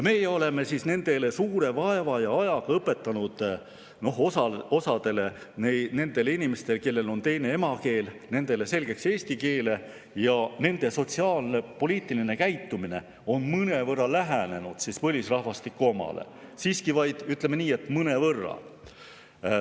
Me oleme nendele suure vaeva ja ajaga õpetanud – osale nendele inimestele, kellel on teine emakeel – selgeks eesti keele ning nende sotsiaalne ja poliitiline käitumine on mõnevõrra lähenenud põlisrahvastiku omale, aga siiski, ütleme nii, et vaid mõnevõrra.